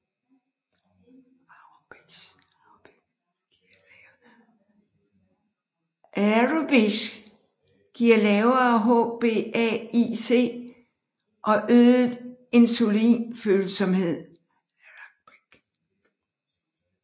Aerobics giver lavere HbA1C og øget insulinfølsomhed